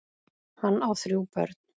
Hann á þrjú börn.